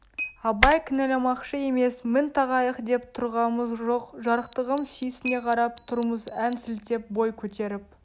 абай кінәламақшы емес мін тағайық деп тұрғамыз жоқ жарықтығым сүйсіне қарап тұрмыз ән сілтеп бой көтеріп